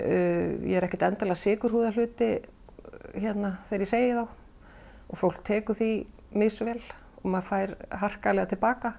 ég er ekkert endilega að hluti þegar ég segi þá fólk tekur því misvel maður fær harkalega til baka